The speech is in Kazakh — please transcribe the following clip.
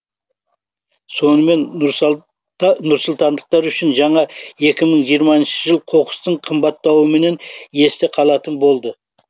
сонымен нұрсұлтандықтар үшін жаңа екі мың жиырмасыншы жыл қоқыстың қымбаттауымен есте қалатын болды